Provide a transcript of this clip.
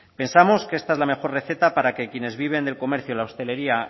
pensamos que esta es la mejor receta para que quienes viven del comercio la hostelería